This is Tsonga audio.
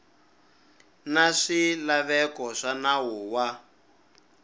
na swilaveko swa nawu wa